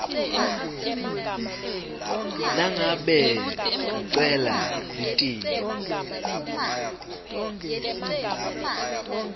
nangabe kucela litiko